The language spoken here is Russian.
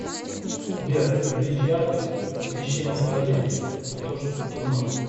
сбер увеличь яркость освещения в туалете а то что то темно